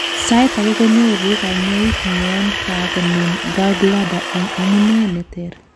sait agei konyoru kanyoik yon kakonem gallbladder en amunee neter